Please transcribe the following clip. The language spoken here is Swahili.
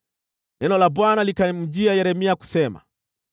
Neno la Bwana likamjia Yeremia kusema: